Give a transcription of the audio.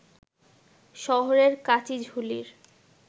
শহরের কাচিঝুলির